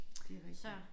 Det rigtigt